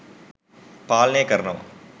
පාලනය කරනව.